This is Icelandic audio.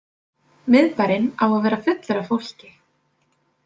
Miðbærinn á að vera fullur af fólki.